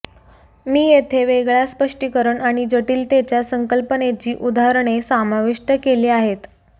मी येथे वेगळ्या स्पष्टीकरण आणि जटिलतेच्या संकल्पनेची उदाहरणे समाविष्ट केली आहेत